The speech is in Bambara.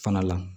Fana la